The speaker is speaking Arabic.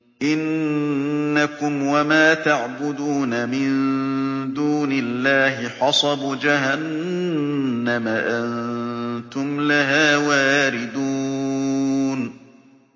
إِنَّكُمْ وَمَا تَعْبُدُونَ مِن دُونِ اللَّهِ حَصَبُ جَهَنَّمَ أَنتُمْ لَهَا وَارِدُونَ